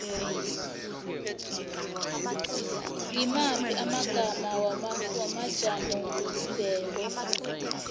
ngimaphi amagama wamajamobumbeko